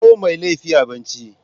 Kawo Mai laifi abinci.